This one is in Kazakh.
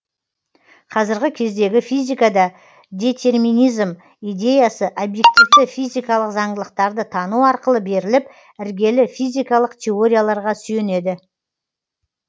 қазіргі кездегі физикада детерминизм идеясы обьективті физикалық заңдылықтарды тану арқылы беріліп іргелі физикалық теорияларға сүйенеді